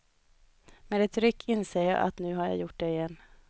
Med ett ryck inser jag att nu har jag gjort det igen.